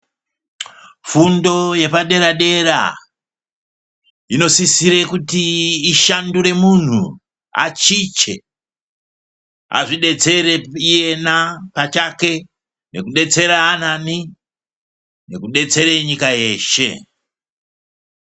Fundo yepaderadera, inosisire kuti ishandure muntu, achiche, azvidetsere iyena pachake nekudetsera anani, nekudetsere nyika yeshe.